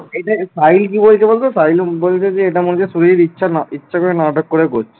সাহিল কি বলছে বলতো সাহিল বলছে যে এটা মনে হচ্ছে শুভজিৎ ইচ্ছা না ইচ্ছা করে নাটক করে করছে